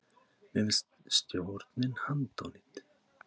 Mér finnst stjórnin handónýt